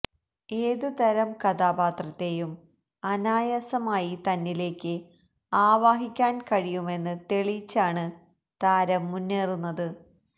ഏത് തരം കഥാപാത്രത്തെയും അനായാസമായി തന്നിലേക്ക് ആവാഹിക്കാന് കഴിയുമെന്ന് തെളിയിച്ചാണ് താരം മുന്നേറുന്നത്